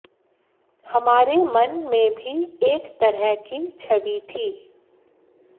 हमारे मन में भी एक तरह की छवि थी